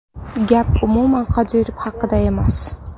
Gap umuman Qodirov haqida emas.